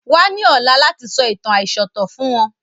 Wa ni ọ̀la láti sọ ìtàn aisọ̀tọ̀ fún wọn